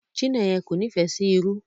Chineyen kò n'ifẹ sí ìrù.